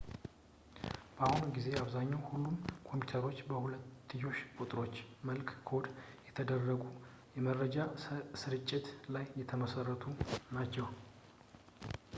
በአሁኑ ጊዜ በአብዛኛው ሁሉም ኮምፒዩተሮች በሁለትዮሽ ቁጥሮች መልክ ኮድ በተደረጉ የመረጃ ሥርጭት ላይ የተመሠረቱ ናቸው